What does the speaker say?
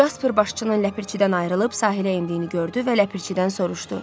Casper başçının ləpirçidən ayrılıb sahilə endiyini gördü və ləpirçidən soruşdu.